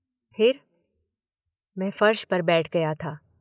फिर। मैं फर्श पर बैठ गया था।